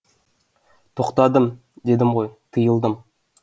тоқтадым дедім ғой тыйылдым